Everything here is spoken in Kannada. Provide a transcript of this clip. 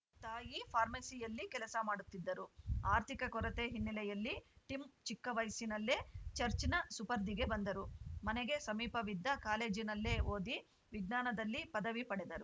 ತಾಯಿ ಫಾರ್ಮೆಸಿಯಲ್ಲಿ ಕೆಲಸ ಮಾಡುತ್ತಿದ್ದರು ಆರ್ಥಿಕ ಕೊರತೆ ಹಿನ್ನೆಲೆಯಲ್ಲಿ ಟಿಮ್‌ ಚಿಕ್ಕ ವಯಸ್ಸಿನಲ್ಲೇ ಚರ್ಚ್ ನ ಸುಪರ್ದಿಗೆ ಬಂದರು ಮನೆಗೆ ಸಮೀಪವಿದ್ದ ಕಾಲೇಜಿನಲ್ಲೇ ಓದಿ ವಿಜ್ಞಾನದಲ್ಲಿ ಪದವಿ ಪಡೆದರು